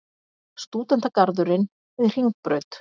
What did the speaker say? Stúdentagarðurinn við Hringbraut.